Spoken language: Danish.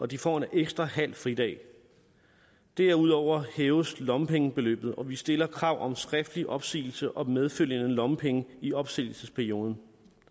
de får en ekstra halv fridag derudover hæves lommepengebeløbet og vi stiller krav om skriftlig opsigelse og medfølgende lommepenge i opsigelsesperioden